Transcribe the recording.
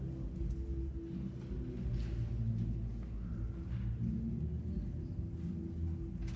en